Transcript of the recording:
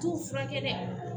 T'u furakɛ dɛ